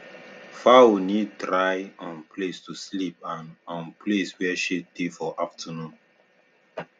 fowl need dry um place to sleep and um place where shade dey for afternoon